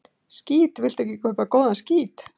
"""Skít, viltu ekki kaupa góðan skít?"""